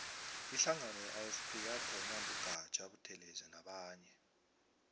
ihlangano ye ifp yathonywa ngu gaja buthelezi nabanye